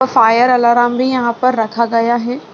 और fire alarm भी यहाँ पर रखा गया है |